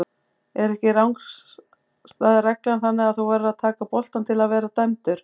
Er ekki rangstæðu reglan þannig að þú verður að taka boltann til að vera dæmdur?